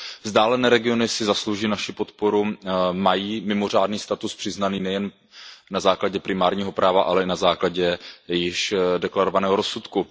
Vzdálené regiony si zaslouží naši podporu, mají mimořádný status přiznaný nejen na základě primárního práva, ale i na základě již deklarovaného rozsudku.